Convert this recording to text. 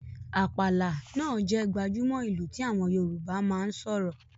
“Àpàlà” náà jẹ́ gbajúmò ìlù tí àwọn Yorùbá máa ń sọ̀rọ̀